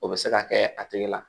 O bɛ se ka kɛ a tigi la